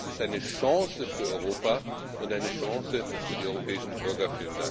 Dies ist eine Chance für Europa und eine Chance für die europäischen Bürger!